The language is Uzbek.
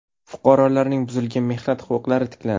Fuqarolarning buzilgan mehnat huquqlari tiklandi.